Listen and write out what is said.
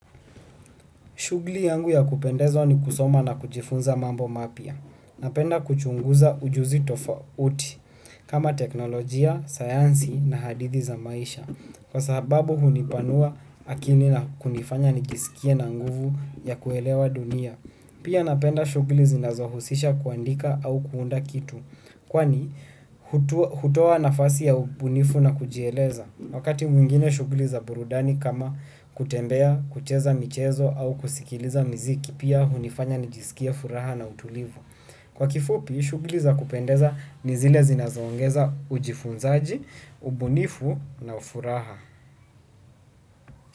Shughuli yangu ya kupendezwa ni kusoma na kujifunza mambo mapya. Napenda kuchunguza ujuzi tofauti kama teknolojia, sayansi na hadithi za maisha. Kwa sababu hunipanua akili na kunifanya nijisikie na nguvu ya kuelewa dunia. Pia napenda shughuli zinazohusisha kuandika au kuunda kitu. Kwani hutoa nafasi ya ubunifu na kujieleza. Wakati mwingine shughuli za burudani kama kutembea, kucheza michezo au kusikiliza miziki pia hunifanya nijisikie furaha na utulivu. Kwa kifupi, shughuli za kupendeza ni zile zinazoongeza ujifunzaji, ubunifu na ufuraha.